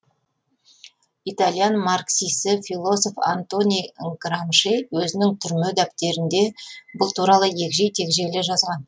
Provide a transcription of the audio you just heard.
итальян марксисі философ антони грамши өзінің түрме дәптерінде бұл туралы егжей тегжейлі жазған